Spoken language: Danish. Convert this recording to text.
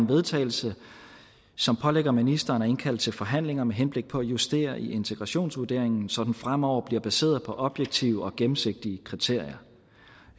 vedtagelse som pålægger ministeren at indkalde til forhandlinger med henblik på at justere i integrationsvurderingen så den fremover bliver baseret på objektive og gennemsigtige kriterier